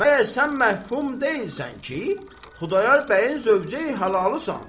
Məyər sən məhfum deyilsən ki, Xudayar bəyin zövcəyi halalısan?